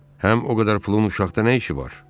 Həm o qədər pulun uşaqda nə işi var?